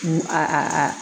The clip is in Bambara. H a